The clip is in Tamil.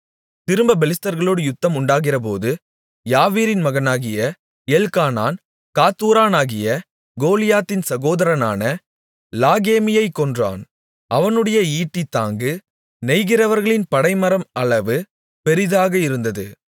திரும்பப் பெலிஸ்தர்களோடு யுத்தம் உண்டாகிறபோது யாவீரின் மகனாகிய எல்க்கானான் காத்தூரானாகிய கோலியாத்தின் சகோதரனான லாகேமியைக் கொன்றான் அவனுடைய ஈட்டிக் தாங்கு நெய்கிறவர்களின் படைமரம் அளவு பெரிதாக இருந்தது